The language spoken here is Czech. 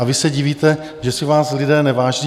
A vy se divíte, že si vás lidé neváží?